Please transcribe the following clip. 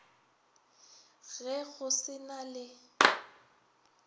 ge go se na le